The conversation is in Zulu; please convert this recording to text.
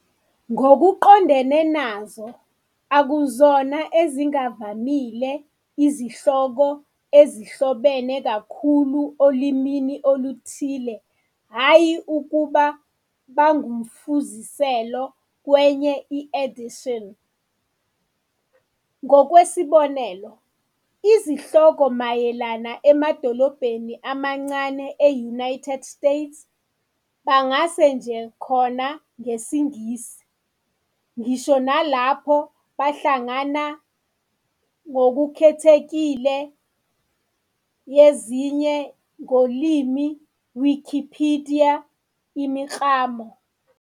Ngokuqondene nazo, akuyona ezingavamile for izihloko ezihlobene kakhulu olimini oluthile hhayi ukuba bangumfuziselo kwenye edition. Ngokwesibonelo, izihloko mayelana emadolobheni amancane e-United States bangase nje khona ngesiNgisi, ngisho nalapho behlangana notability criteria yezinye ngolimi Wikipedia imiklamo.